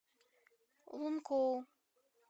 лункоу